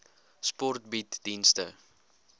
sport bied dienste